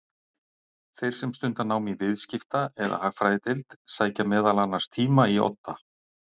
Þeir sem stunda nám í Viðskipta- eða Hagfræðideild sækja meðal annars tíma í Odda.